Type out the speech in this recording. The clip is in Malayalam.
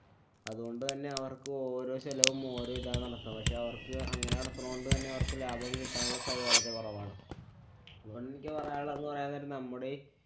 അതുകൊണ്ട് തന്നെ അവര്‍ക്ക് ഓരോ ചെലവും ഓരോ ഇതാണ് നടത്തണ്. പക്ഷെ അവര്‍ക്ക് അങ്ങനെ നടത്തണോണ്ട് തന്നെ അവര്‍ക്ക് ലാഭവും കിട്ടാനുള്ള സാധ്യത വളരെ കുറവാണ്. എനിക്ക് പറയാനുള്ളതെന്ന് പറയാന്‍ നേരം നമ്മുടെ ഈ